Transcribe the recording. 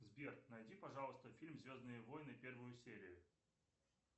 сбер найди пожалуйста фильм звездные войны первую серию